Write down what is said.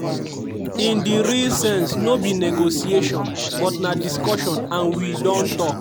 “in di real sense no be negotiation but na discussion and we don tok.